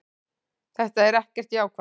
Þetta er ekkert jákvætt.